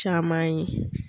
Caman ye.